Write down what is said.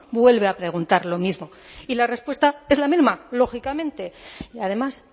vuelve a preguntar lo mismo y la respuesta es la misma lógicamente y además